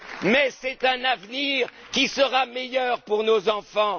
dur! Mais c'est un avenir qui sera meilleur pour nos enfants!